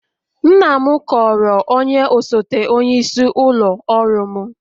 Nna m kọọrọ onye osote onyeisi ụlọ ọrụ m